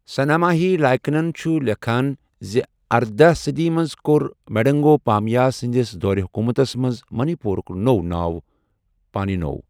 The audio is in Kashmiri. سناماہی لائکنَن چھُ لیٚکھان زِ اردَہ صٔدی منٛز کوٚر میڈنگو پامہیبا سٕندِس دورِ حكوٗمتس منز منی پوٗرَك نوٚو ناو پاننیو۔